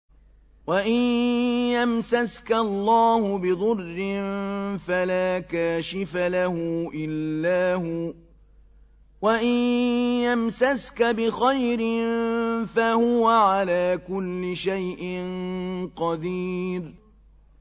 وَإِن يَمْسَسْكَ اللَّهُ بِضُرٍّ فَلَا كَاشِفَ لَهُ إِلَّا هُوَ ۖ وَإِن يَمْسَسْكَ بِخَيْرٍ فَهُوَ عَلَىٰ كُلِّ شَيْءٍ قَدِيرٌ